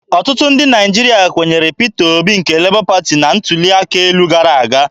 Ọtụtụ ndị Naịjirịa kwenyere Peter Obi nke Lebọ Pati na ntuli aka elu gara aga.